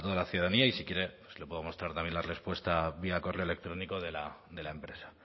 la ciudadanía y si quiere pues le podemos dar también la respuesta vía correo electrónico de la empresa